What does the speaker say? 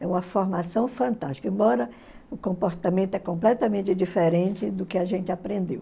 É uma formação fantástica, embora o comportamento é completamente diferente do que a gente aprendeu.